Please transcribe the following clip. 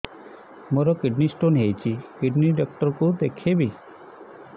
ମୋର kidney stone ହେଇଛି kidney doctor କୁ ଦେଖାଇବି